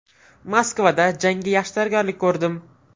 Moskvada jangga yaxshi tayyorgarlik ko‘rdim.